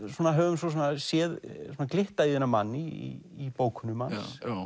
höfum séð glitta í þennan mann í bókunum hans